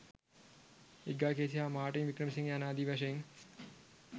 Edgar Cayce හා Martin Wickramasinghe යනාදී වශයෙන්